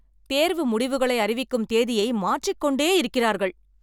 தேர்வு முடிவுகளை அறிவிக்கும் தேதியை மாற்றிக்கொண்டே இருக்கிறார்கள்.